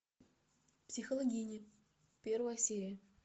психологиня первая серия